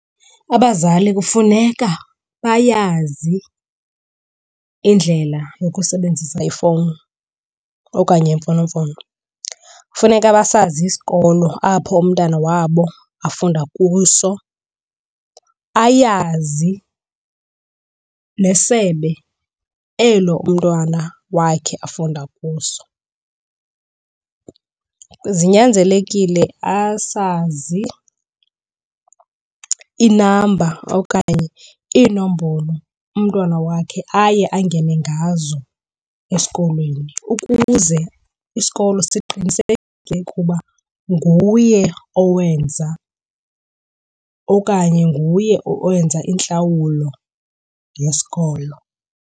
Abazali kufuneka bayazi indlela yokusebenzisa ifowuni okanye imfonomfono. Kufuneka basazi isikolo apho umntana wabo afunda kuso ayazi nesebe elo umntwana wakhe afunda kuso. Zinyanzelekile asazi inamba okanye iinombolo umntwana wakhe aye angene ngazo esikolweni ukuze isikolo siqiniseke ukuba nguye owenza okanye nguye owenza intlawulo yesikolo.